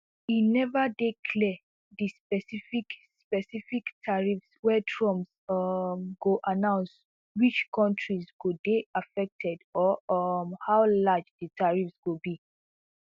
e neva dey clear di specific specific tariffs wey trump um go announce which kontris go dey affected or um how large di tariffs go be